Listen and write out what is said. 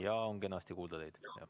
Jaa, on kenasti kuulda.